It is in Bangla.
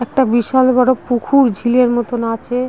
একটা বিশাল বড় পুকুর ঝিলের মতন আছে ।